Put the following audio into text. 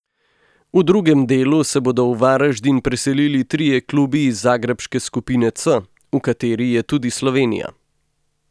V drugem delu se bodo v Varaždin preselili trije klubi iz zagrebške skupine C, v kateri je tudi Slovenija.